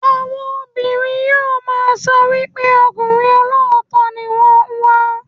Àwọn obìnrin yóò máa sọ wípé ọkùnrin olóòótọ́ ni wón ń wá.